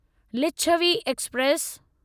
Licchavi express